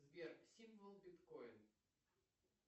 сбер символ биткоин